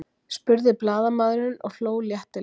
spurði blaðamaðurinn og hló léttilega.